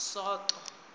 soto